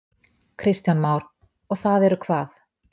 Kristján Már: Og það eru hvað?